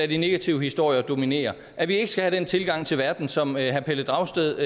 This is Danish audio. de negative historier dominere at vi ikke skal have den tilgang til verden som herre pelle dragsted